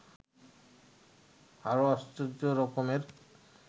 আরো আশ্চর্যরকমের